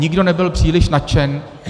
Nikdo nebyl příliš nadšen.